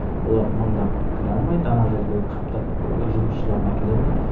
олар мыңдап кіре алмайды ана жерге қаптатып ы жұмысшыларын әкеле алмайды